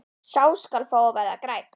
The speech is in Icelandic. Sá skal fá að verða grænn!